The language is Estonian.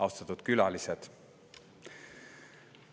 Austatud külalised!